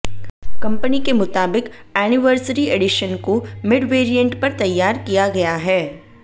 company के मुताबिक anniversary edition को मिड वेरिएंट पर तैयार किया गया है